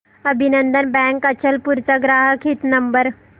अभिनंदन बँक अचलपूर चा ग्राहक हित नंबर